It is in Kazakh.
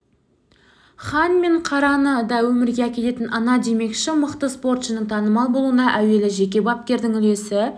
хан мен қараны да өмірге әкелетін ана демекші мықты спортшының танымал болуына әуелі жеке бапкердің үлесі